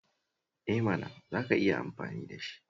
Eh mana, za ka iya amfani da shi!